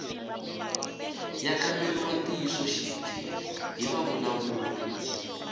ya kamberiwa ntiyisoxidzi hi vavulavuri